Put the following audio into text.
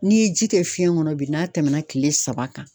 N'i ye ji kɛ fiɲɛ kɔnɔ bi n'a tɛmɛna kile saba kan